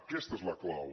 aquesta és la clau